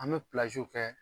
An be kɛ